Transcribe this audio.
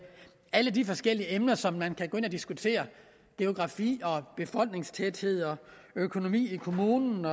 alle de forskellige emner som man kan gå ind og diskutere geografi befolkningstæthed økonomi i kommunen